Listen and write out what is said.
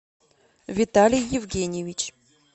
виталий евгеньевич